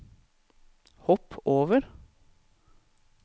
hopp over